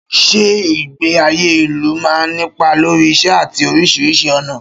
Ṣé ìgbé ayé ìlú máa ń nípa lórí ìṣe àti oríṣiríṣi ọ̀nà?